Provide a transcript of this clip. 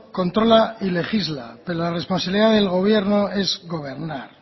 controla y legisla que la responsabilidad del gobierno es gobernar